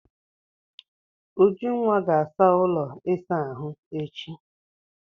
Ujunwa ga-asa ụlọ ịsa ahụ echi.